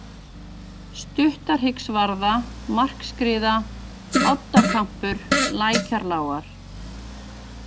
Stuttahryggsvarða, Markskriða, Oddakampur, Lækjarlágar